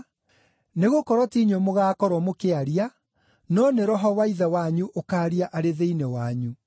nĩgũkorwo ti inyuĩ mũgaakorwo mũkĩaria, no nĩ Roho wa Ithe wanyu ũkaaria arĩ thĩinĩ wanyu.